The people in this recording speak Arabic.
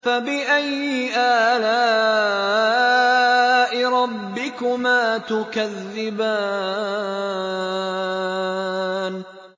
فَبِأَيِّ آلَاءِ رَبِّكُمَا تُكَذِّبَانِ